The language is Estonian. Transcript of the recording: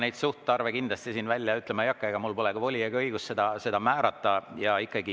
Ma neid suhtarve kindlasti välja ütlema ei hakka, mul polegi voli ega õigust seda määrata.